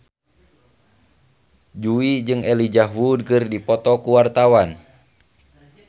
Jui jeung Elijah Wood keur dipoto ku wartawan